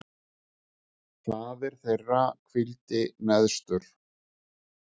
Faðir þeirra hvíldi neðstur.